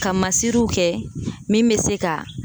Ka masiriw kɛ min bɛ se ka